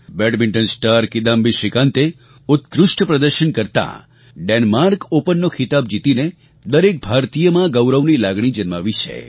બૅડમિન્ટ star Kidambi શ્રીકાંતે ઉત્કૃષ્ટ પ્રદર્શન કરતાં ડેન્માર્ક ઑપનનો ખિતાબ જીતીને દરેક ભારતીયમાં ગૌરવની લાગણી જન્માવી છે